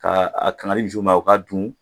Ka a kan ka di misiw ma u k'a dun